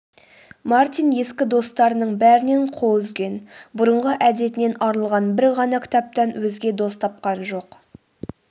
мартин ескі достарының бәрінен қол үзген бұрынғы әдетінен арылған бір ғана кітаптан өзге дос тапқан жоқ